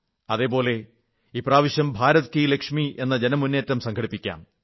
അതേപോലെ ഇപ്രാവശ്യം ഭാരത് കീ ലക്ഷ്മി എന്ന ജനമുന്നേറ്റം സംഘടിപ്പിക്കാം